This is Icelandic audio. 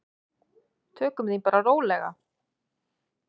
Tökum því bara rólega.